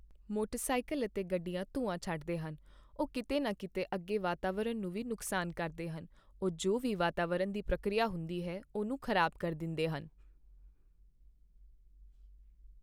motorcycle ਅਤੇ ਗੱਡੀਆਂ ਧੂੰਆਂ ਛੱਡਦੇ ਹਨ, ਉਹ ਕੀਤੇ ਨਾ ਕੀਤੇ ਅੱਗੇ ਵਾਤਾਵਰਣ ਨੂੰ ਵੀ ਨੁਕਸਾਨ ਕਰਦੇ ਹਨ , ਉਹ ਜੋ ਵੀ ਵਾਤਾਵਰਣ ਦੀ ਪ੍ਰਕਿਰਿਆ ਹੁੰਦੀ ਹੈ ,ਉਹਨੂੰ ਖ਼ਰਾਬ ਕਰ ਦਿੰਦੇ ਹਨ